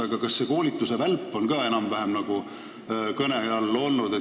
Aga kas selle koolituse välp on ka kõne all olnud?